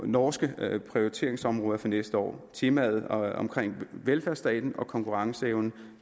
norske prioriteringsområder for næste år temaet om velfærdsstaten og konkurrenceevnen